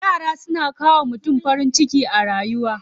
Yara suna kawo wa mutum farin ciki a rayuwa.